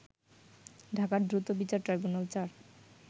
ঢাকার দ্রুত বিচার ট্রাইব্যুনাল-৪